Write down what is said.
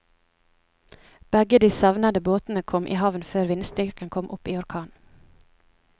Begge de savnede båtene kom i havn før vindstyrken kom opp i orkan.